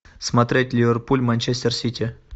смотреть ливерпуль манчестер сити